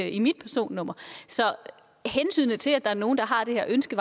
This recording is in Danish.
i mit personnummer så vejer hensynet til at der er nogle der har det her ønske